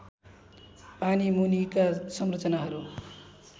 पानी मुनिका संरचनाहरू